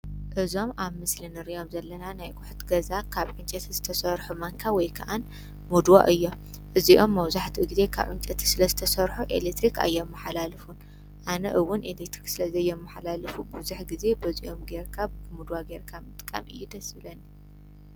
እዞም ኣብ ምስሊ ንሪኦም ዘለና ናይ ኣቁሑት ገዛ ካብ ዕንጨቲ ዝተሰሑ ማንካ ወይ ከዓ ሙድዋ እዮም እዚኦም መብዛሕቱ ግዘ ካብ ዕንጨቲ ስለ ዝተሰርሑ ኤለትሪክ ኣየመሓላልፉን ኣነ እዉን ኤለትሪክ ስለ ዘየመሓላልፉ ብዙሕ ግዘ በዚኦም ጌርካ ምድዋ ጌርካ ምጥቃም እዩ ደስ ዝብለኒ።